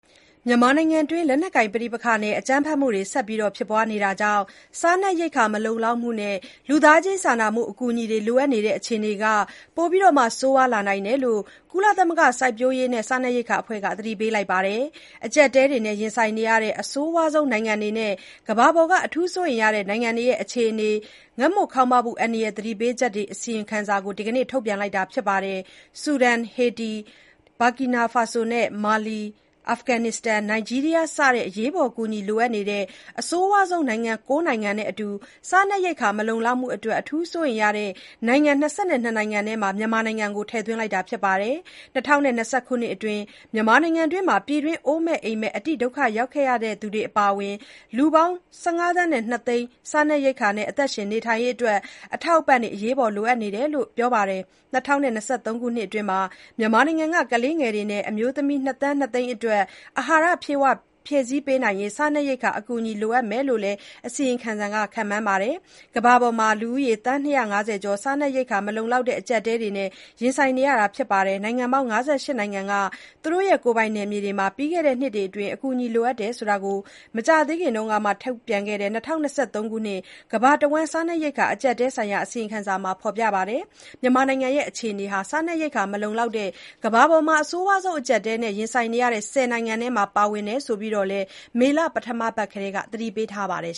မြန်မာနိုင်ငံအတွင်း လက်နက်ကိုင်ပဋိပက္ခနဲ့ အကြမ်းဖက်မှုတွေ ဆက်လက်ဖြစ်ပွားနေတာကြောင့် စားနပ်ရိက္ခာ မလုံလောက်မှုနဲ့ လူသားချင်းစာနာမှု အကူအညီလိုအပ်နေတဲ့ အခြေအနေ ပိုပြီး ဆိုးရွားလာနိုင်တဲ့အကြောင်း ကုလသမဂ္ဂ စိုက်ပျိုးရေးနဲ့ စားနပ်ရိက္ခာ အဖွဲ့ FAO က သတိပေးထားပါတယ်။ အကျပ်အတည်းတွေ ရင်ဆိုင်နေရတဲ့ အဆိုးရွားဆုံး နိုင်ငံတွေနဲ့ ကမ္ဘာပေါ်က အထူးစိုးရိမ်ရတဲ့ နိုင်ငံတွေရဲ့ အခြေအနေ ငတ်မွတ်ခေါင်းပါးမှု အန္တရာယ် သတိပေးချက် အစီရင်ခံစာ FAO က ဒီနေ့ ထုတ်ပြန်တာပါ။ ဆူဒန်၊ ဟေတီ၊ Burkina Faso နဲ့ မာလီ၊ အာဖဂန်နစ္စတန်၊ နိုင်ဂျီးရီးယား စတဲ့ အရေးပေါ်အကူအညီလိုအပ်တဲ့ အဆိုးရွားဆုံး နိုင်ငံ ၉ နိုင်ငံနဲ့အတူ စားနပ်ရိက္ခာ မလုံလောက်မှု အတွက် အထူး စိုးရိမ်ရတဲ့ နိုင်ငံ ၂၂ နှစ်နိုင်ငံထဲမှာ မြန်မာနိုင်ငံကို ထည့်သွင်းထားတာပါ။ ၂၀၂၂ ခုနှစ်အတွင်း မြန်မာနိုင်ငံမှာ ပြည်တွင်း အိုးမဲ့ အိမ်မဲ့ အတိဒုက္ခရောက်နေတဲ့သူတွေအပါအဝင် လူ ၁၅ သန်း ၂ သိန်း စားနပ်ရိက္ခာနဲ့ အသက်ရှင်နေထိုင်ရေးအတွက် အထောက်အပံ့တွေ လိုအပ်မယ့်အကြောင်း FAO အရာရှိတွေက ပြောဆိုထားပါတယ်။ ၂၀၂၃ ခုနှစ်အတွင်းမှာ မြန်မာနိုင်ငံက ကလေးငယ် နဲ့ အမျိုးသမီး ၂ သန်း ၂ သိန်းအတွက် အဟာရ ဖြည့်ဆည်းပေးနိုင်ရေး စားနပ်ရိက္ခာ အကူအညီ လိုအပ်မယ်လို့လည်း FOA ရဲ့ အစီရင်ခံစာက ခန့်မှန်းထားပါတယ်။ ကမ္ဘာပေါ်မှာ လူဦးရေ သန်း ၂၅၀ ကျော် စားနပ်ရိက္ခာ မလုံလောက်တဲ့ အကျပ်အတည်းကို ရင်ဆိုင်နေရပြီး နိုင်ငံပေါင်း ၅၈ နိုင်ငံနဲ့ ကိုယ်ပိုင်နယ်မြေတွေမှာ ပြီးခဲ့တဲ့ နှစ်အတွင်း အကူအညီလိုအပ်ခဲ့တဲ့အကြောင်း မကြာသေးခင်က ထုတ်တဲ့ FAO ရဲ့ ၂၀၂၃ ခုနှစ် ကမ္ဘာတဝှမ်း စားနပ်ရိက္ခာ အကျပ်အတည်းဆိုင်ရာ အစီရင်ခံစာမှာ ဖေါ်ပြပါတယ်။ မြန်မာနိုင်ငံရဲ့ အခြေအနေဟာ စားနပ်ရိက္ခာ မလုံလောက်တဲ့ ကမ္ဘပေါ်က အဆိုးရွားဆုံး အကျပ်အတည်းကို ရင်ဆိုင်နေရတဲ့ ဆယ်နိုင်ငံထဲမှာ ပါဝင်နေတယ်ဆိုပြီးတော့လည်း FAO အကြီးတန်းအရာရှိတဉီးက မေလ ပထမပတ်အတွင်းက သတိပေးခဲ့ပါတယ်